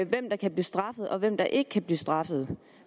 hvem der kan blive straffet og hvem der ikke kan blive straffet